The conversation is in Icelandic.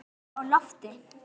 En blikur eru á lofti.